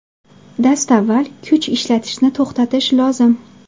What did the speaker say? Dastavval kuch ishlatishni to‘xtatish lozim.